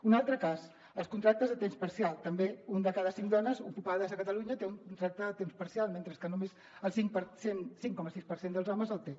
un altre cas els contractes a temps parcial també una de cada cinc dones ocupades a catalunya té un contracte a temps parcial mentre que només el cinc coma sis per cent dels homes el té